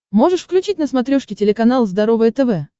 можешь включить на смотрешке телеканал здоровое тв